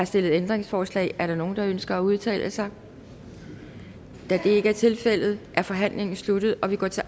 stillet ændringsforslag er der nogen der ønsker at udtale sig da det ikke tilfældet er forhandlingen sluttet og vi går til